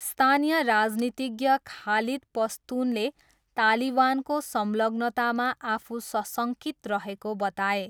स्थानीय राजनीतिज्ञ खालिद पस्तुनले तालिवानको संलग्नतामा आफू सशङ्कित रहेको बताए।